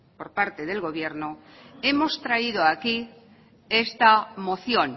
por parte del gobierno hemos traído aquí esta moción